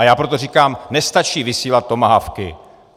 A já proto říkám, nestačí vysílat tomahawky.